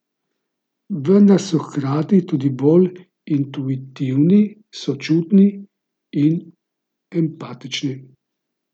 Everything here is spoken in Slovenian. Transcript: Vendar so hkrati tudi bolj intuitivni, sočutni in empatični.